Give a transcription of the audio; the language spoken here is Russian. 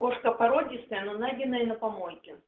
кошка породистая но найденная на помойке